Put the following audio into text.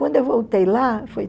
Quando eu voltei lá, foi